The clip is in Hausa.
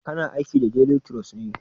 Kana aiki da delituros ne?